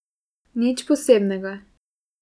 Nič posebnega.